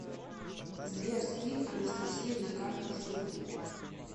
сбер скинь анастасие на карту штуку